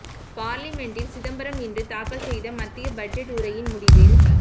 பார்லிமென்ட்டில் சிதம்பரம் இன்று தாக்கல் செய்த மத்திய பட்ஜெட் உரையின் முடிவில்